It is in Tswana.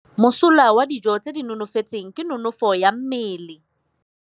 Mosola wa dijô tse di itekanetseng ke nonôfô ya mmele.